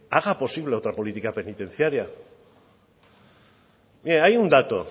haga posible otra política penitenciaria mire hay un dato